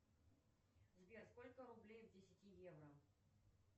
сбер сколько рублей в десяти евро